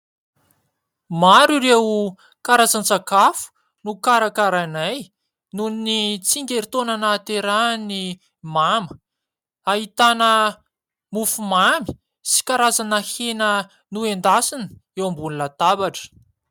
Maro ireo karazan-tsakafo nokarakarainay noho ny tsingeritoaona nahaterahin'ny mama. Ahitana mofo mamy sy karazana hena nendasina eo ambony latabatra.